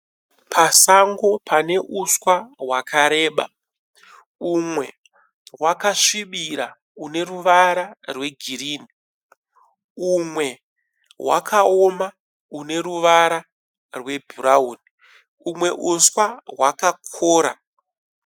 Pasango pane uswa hwakareba. Umwe hwakasvibira une ruvara rwegirini. Umwe hwakaoma une ruvara rwebhurauni. Umwe uswa hwakakora.